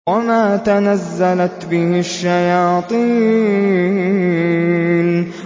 وَمَا تَنَزَّلَتْ بِهِ الشَّيَاطِينُ